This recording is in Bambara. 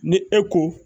Ni e ko